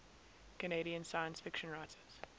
canadian science fiction writers